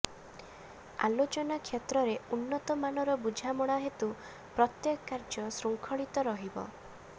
ଆଲୋଚନା କ୍ଷେତ୍ରରେ ଉନ୍ନତ ମାନର ବୁଝାମଣା ହେତୁ ପ୍ରତ୍ୟେକ କାର୍ଯ୍ୟ ଶୃଙ୍ଖଳିତ ରହିବ